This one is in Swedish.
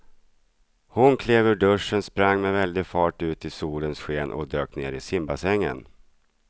Hon klev ur duschen, sprang med väldig fart ut i solens sken och dök ner i simbassängen.